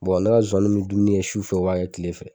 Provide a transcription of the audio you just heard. ne ka zonwaniw bɛ dumuni kɛ sufɛ o b'a kɛ kile fɛ.